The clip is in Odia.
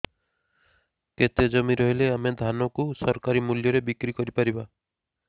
କେତେ ଜମି ରହିଲେ ଆମେ ଧାନ କୁ ସରକାରୀ ମୂଲ୍ଯରେ ବିକ୍ରି କରିପାରିବା